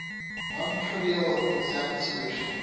non trivial exact solution